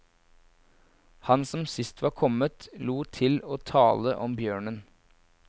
Han som sist var kommet, lot til å tale om bjørnen.